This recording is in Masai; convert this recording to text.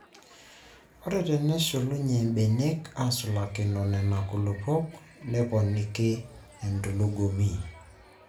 Ore tenesulunye mbenek aasulakino Nena kulupuok neponiki entulugumi.